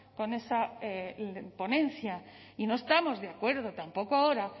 con esa ponencia y no estamos de acuerdo tampoco ahora